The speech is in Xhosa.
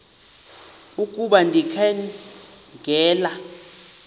ukuba ndikha ngela